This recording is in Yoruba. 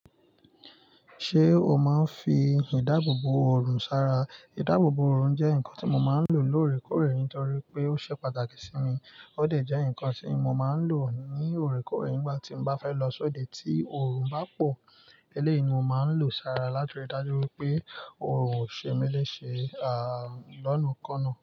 Ṣé o máa ń fi ìdáàbòbò òrùn sara? Ìdáàbòbò òrùn jẹ́ nǹkan tí mo máa ń lò lórèkórè torí pé ó ṣe pàtàkì sí mi. Ó dẹ̀ jẹ́ nǹkan tí mo máa ń lò ní òrékórè nígbà tí mo bá fẹ́ lọ sọdẹ ti òrùn bá pò. Eleyii, mo máa ń lò sara lati ri dájú wípé òrùn ó ṣe mí léṣe, à, lọ́nà kan náà.